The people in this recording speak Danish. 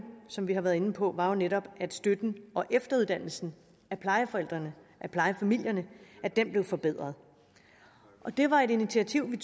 som vi har været inde på var jo netop at støtten og efteruddannelsen af plejeforældrene af plejefamilierne blev forbedret det var et initiativ vi